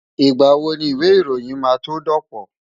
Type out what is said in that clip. Ìgbà wo ni ìwé ìròyìn máa tó dọ̀pọ̀?